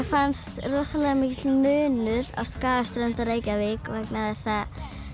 fannst rosalega mikill munur á Skagaströnd og Reykjavík vegna þess að